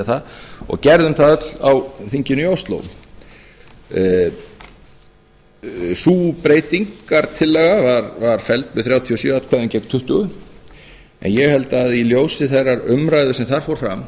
það og gerðum það öll á þinginu í ósló sú breytingartillaga var felld með þrjátíu og sjö atkvæðum gegn tuttugu en ég held að í ljósi þeirrar umræðu sem þar fór fram